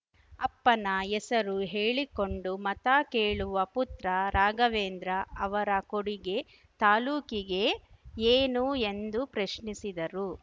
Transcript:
ಅಪ್ಪನ ಹೆಸರು ಹೇಳಿಕೊಂಡು ಮತ ಕೇಳುವ ಪುತ್ರ ರಾಘವೇಂದ್ರ ಅವರ ಕೊಡುಗೆ ತಾಲೂಕಿಗೆ ಏನು ಎಂದು ಪ್ರಶ್ನಿಸಿದರು